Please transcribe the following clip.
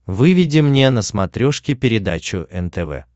выведи мне на смотрешке передачу нтв